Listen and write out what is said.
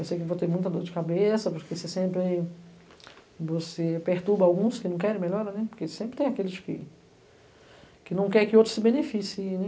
Eu sei que vou ter muita dor de cabeça, porque você sempre você perturba alguns que não querem melhora, né, porque sempre tem aqueles que que não querem que outros se beneficiem, né.